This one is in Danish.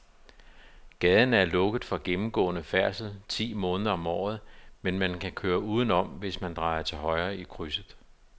Gaden er lukket for gennemgående færdsel ti måneder om året, men man kan køre udenom, hvis man drejer til højre i krydset.